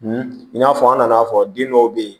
i n'a fɔ an nana fɔ den dɔw be yen